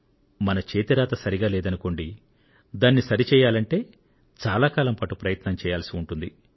మన చేతి రాత సరిగా లేదనుకోండి దానిని సరి చేయాలంటే చాలా కాలం పాటు ప్రయత్నం చేయాల్సి ఉంటుంది